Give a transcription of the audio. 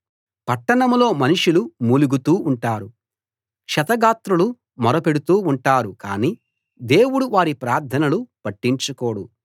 పట్టణంలో మనుషులు మూలుగుతూ ఉంటారు క్షతగాత్రులు మొర పెడుతూ ఉంటారు కానీ దేవుడు వారి ప్రార్థనలు పట్టించుకోడు